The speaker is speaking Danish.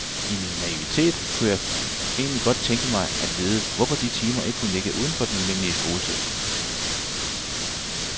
I min naivitet kunne jeg egentlig godt tænke mig at vide, hvorfor de timer ikke kunne ligge uden for den almindelige skoletid.